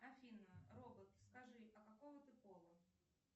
афина робот скажи а какого ты пола